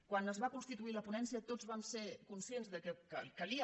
quan es va constituir la ponència tots vam ser conscients que calia